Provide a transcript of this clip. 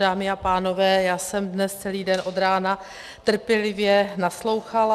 Dámy a pánové, já jsem dnes celý den od rána trpělivě naslouchala.